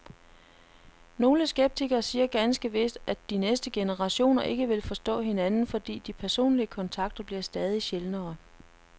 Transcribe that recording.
Nogle skeptikere siger ganske vist, at de næste generationer ikke vil forstå hinanden, fordi de personlige kontakter bliver stadig sjældnere.